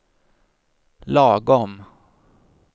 lagom